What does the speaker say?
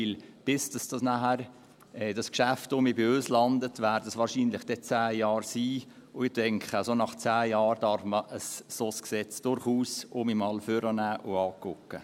Denn bis dieses Geschäft nachher wieder bei uns landet, werden es dann wahrscheinlich zehn Jahre sein, und ich denke, nach zehn Jahren darf man ein solches Gesetz durchaus wieder mal hervornehmen und anschauen.